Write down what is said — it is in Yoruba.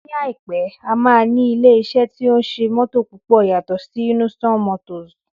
Ní àìpé, a máa ní ilé iṣẹ́ tí ó ń ṣe mótò púpọ̀ yàtọ̀ sí Innoson motors